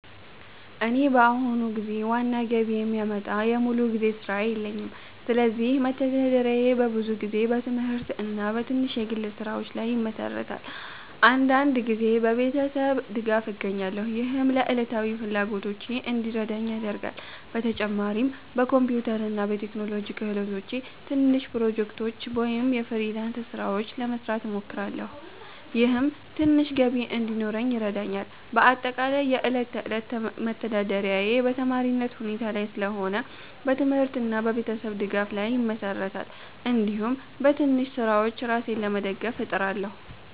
እኔ በአሁኑ ጊዜ ዋና ገቢ የሚያመጣ ሙሉ ጊዜ ሥራ የለኝም፣ ስለዚህ መተዳደሪያዬ በብዙ ጊዜ በትምህርት እና በትንሽ የግል ስራዎች ላይ ይመሠራል። አንዳንድ ጊዜ በቤተሰብ ድጋፍ እገኛለሁ፣ ይህም ለዕለታዊ ፍላጎቶቼ እንዲረዳኝ ያደርጋል። በተጨማሪም በኮምፒውተር እና በቴክኖሎጂ ክህሎቶቼ ትንሽ ፕሮጀክቶች ወይም የፍሪላንስ ስራዎች ለመስራት እሞክራለሁ፣ ይህም ትንሽ ገቢ እንዲኖረኝ ይረዳኛል። በአጠቃላይ የዕለት ተዕለት መተዳደሪያዬ በተማሪነት ሁኔታ ላይ ስለሆነ በትምህርት እና በቤተሰብ ድጋፍ ላይ ይመሠራል፣ እንዲሁም በትንሽ ስራዎች ራሴን ለመደገፍ እጥራለሁ።